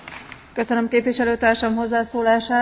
Köszönöm képviselő társam hozzászólását.